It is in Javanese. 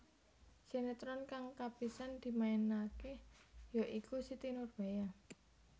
Sinétron kang kapisan dimainaké ya iku Siti Nurbaya